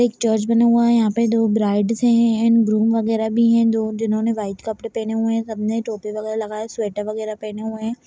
एक चर्च बना हुआ है यहाँ पर दो ब्राइड्स एंड ग्रूम वगेरा भी है जो दो जिन्होंने वाइट कपड़े पहने हुए है सब ने टोपी वगेरा लगाये स्वेटर वगेरा पहने हुए हैं।